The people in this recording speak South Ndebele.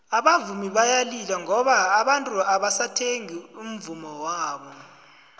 abavumi bayalila ngoba abantu abasathengi umvummo wabo